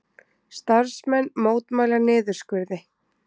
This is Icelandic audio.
Starfsmenn mótmæla niðurskurði